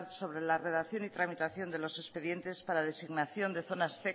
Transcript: sobre la redacción y tramitación de los expedientes para designación de zonas